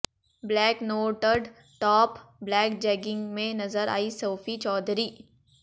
black knotted top black jegging में नजर आई सोफी चौधरी